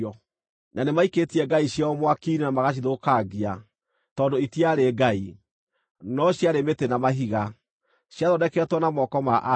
Na nĩmaikĩtie ngai ciao mwaki-inĩ na magacithũkangia, tondũ itiarĩ ngai, no ciarĩ mĩtĩ na mahiga, ciathondeketwo na moko ma andũ.